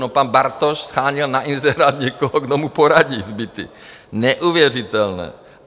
No, pan Bartoš sháněl na inzerát někoho, kdo mu poradí s byty - neuvěřitelné.